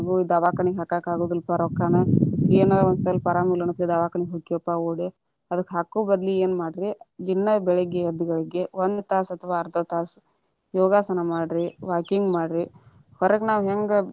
ನನಗು ದಾವಾಖಾನಿಗ ಹಾಕಾಕ ಅಗುದಿಲ್ಲಾಪಾ ರೊಕ್ಕಾನ, ಏನರ ಒಂದ ಸ್ವಲ್ಪ ಆರಾಮಿಲ್ಲಾ ಅನ್ನುತಲೇ ದವಾಖಾನೆ ಹೋಗ್ತೇವಪಾ ಓಡಿ ಅದಕ್ಕ ಹಾಕು ಬದ್ಲಿ ಏನ ಮಾಡ್ರಿ ದಿನಾ ಬೆಳಿಗ್ಗೆ ಎದ್ದ ಗಳಿಗೆ ಒಂದ ತಾಸ ಅಥವಾ ಅರ್ಧ ತಾಸ, ಯೋಗಸನಾ ಮಾಡ್ರಿ walking ಮಾಡ್ರಿ ಹೊರಗ ನಾವ ಹೆಂಗ.